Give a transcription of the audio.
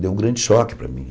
Deu um grande choque para mim.